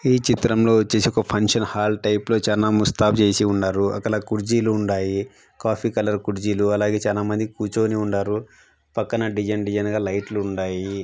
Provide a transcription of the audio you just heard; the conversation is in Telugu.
ఈ చిత్రం లో వచ్చేసి ఒక ఫంక్షన్ హాల్ టైపు లో చానా ముస్తాబు చేసి ఉన్నారు అక్కడ కుర్చీలు ఉండాయి కాఫీ కలర్ కుర్చీలు అలాగే చానా మంది కూర్చొని వుండారు పక్కన డిజైన్ డిజైన్ గా లైట్లుండాయి .